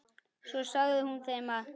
Svo sagði hún þeim að